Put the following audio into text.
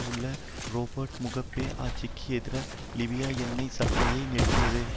உள்ளான Robert Mugabe ஆட்சிக்கு எதிராக லிபியா எண்ணெய் சப்ளையை நிறுத்தியது